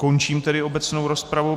Končím tedy obecnou rozpravu.